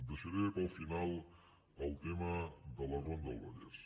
deixaré per al final el tema de la ronda del vallès